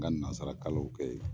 N ka nazarakalanw kɛ yen